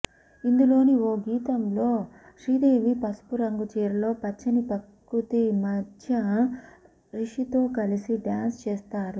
ఇందులోని ఓ గీతంలో శ్రీదేవి పసుపు రంగు చీరలో పచ్చని పకృతి మధ్య రిషితో కలిసి డ్యాన్స్ చేస్తారు